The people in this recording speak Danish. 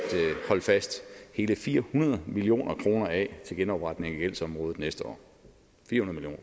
hold fast hele fire hundrede million kroner af til genopretning af gældsområdet næste år fire hundrede